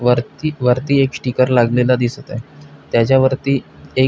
वरती वरती एक स्टिकर लागलेल दिसत आहे त्याच्या वरती एक--